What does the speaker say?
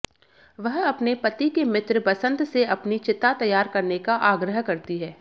वह अपने पति के मित्र बसन्त से अपनी चिता तैयार करने का आग्रह करती है